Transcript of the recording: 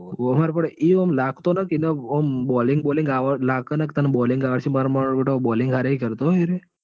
એ આમ લાગતો નથી ન આમ bowling bowling લાગ ના કે તન આવડશે માર માર બેટો bowling હરિ કરતો હો એરો એ